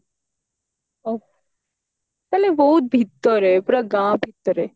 ତାହେଲେ ବହୁତ ଭିତରେ ପୁରା ଗାଁ ଭିତରେ